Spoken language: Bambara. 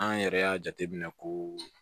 An yɛrɛ y'a jate minɛ ko